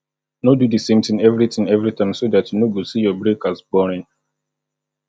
no do the same thing every thing every time so dat you no go see your break as boring